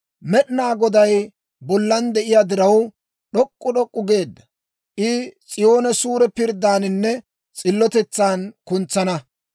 Med'inaa Goday bollan de'iyaa diraw, d'ok'k'u d'ok'k'u geedda; I S'iyoone suure pirddaaninne s'illotetsan kuntsana.